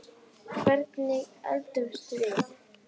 Hvernig eldumst við?